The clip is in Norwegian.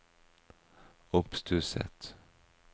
oppstusset